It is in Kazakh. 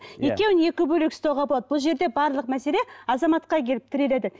екеуін екі бөлек ұстауға болады бұл жерде барлық мәселе азаматқа келіп тіреледі